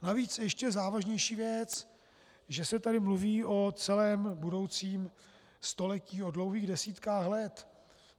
Navíc ještě závažnější věc, že se tady mluví o celém budoucím století, o dlouhých desítkách let.